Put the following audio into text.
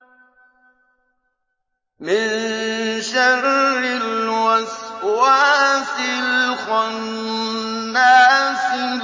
مِن شَرِّ الْوَسْوَاسِ الْخَنَّاسِ